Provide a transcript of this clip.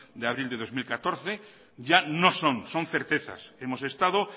de abril de dos mil catorce ya no son son certezas hemos estado